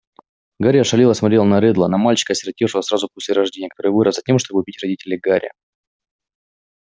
гарри ошалело смотрел на реддла на мальчика осиротевшего сразу после рождения который вырос затем чтобы убить родителей гарри